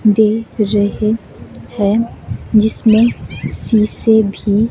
दे रहे हैं जिसमें सी से भी--